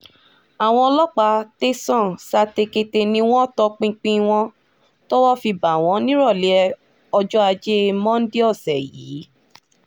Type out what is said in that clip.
àwọn ọlọ́pàá tẹ̀sán satekete ni wọ́n tọpinpin wọn tọwọ́ fi bá wọn nírọ̀lẹ́ ọjọ́ ajé monde ọ̀sẹ̀ yìí